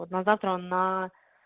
вот на завтра на